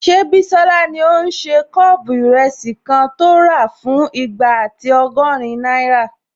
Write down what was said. Ṣé Bísọ́lá ní o n ṣe kọ́ọ̀pù ìrẹsì kan tó rà fún igba ati ọgọ́rin náírà?